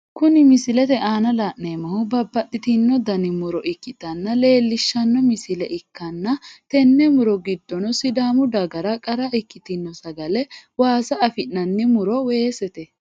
Kunni misilete aanna la'neemohu babbaxitino danni muro ikitinota leelishano misile ikanna tene muro gidono sidaamu dagara qara ikitino sagale waassa afi'nanni muro weesete.